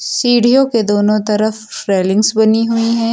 सीढ़ियों के दोनों तरफ रेलिंग्स बनी हुई हैं।